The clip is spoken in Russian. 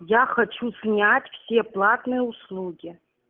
я хочу снять все платные услуги